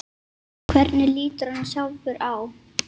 Hvernig lítur hann sjálfur á?